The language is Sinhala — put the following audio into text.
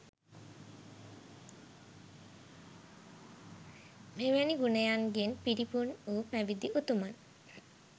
මෙවැනි ගුණයන්ගෙන් පිරිපුන් වූ පැවිදි උතුමන්